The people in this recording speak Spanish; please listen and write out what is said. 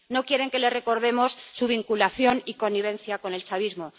No quieren que les recordemos su vinculación y connivencia con el chavismo.